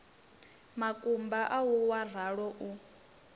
makumba au wa ralo u